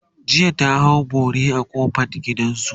jiya ta hau bori a kofan gidansu